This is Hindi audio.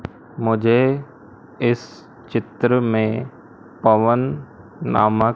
मुझे इस चित्र में पवन नामक--